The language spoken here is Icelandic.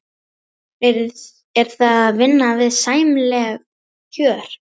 Er það að vinna við sæmileg kjör?